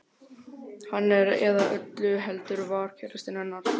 Hann er, eða öllu heldur var, KÆRASTINN hennar.